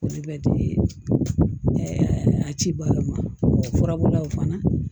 Olu bɛ di a cibaga ma furabulaw fana